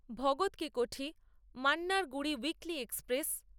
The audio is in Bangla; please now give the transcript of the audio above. Bhagat Ki Kothi Mannargudi weekly express